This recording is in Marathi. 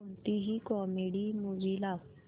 कोणतीही कॉमेडी मूवी लाव